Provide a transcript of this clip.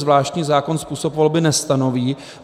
Zvláštní zákon způsob volby nestanoví.